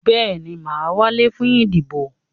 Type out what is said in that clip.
Bẹ́ẹ̀ni, mà á wálé fún ìdìbò.